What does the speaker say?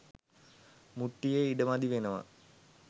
මුට්ටියෙ ඉඩ මදි වෙනවා.